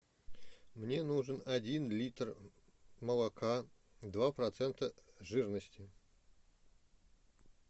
мне нужен один литр молока два процента жирности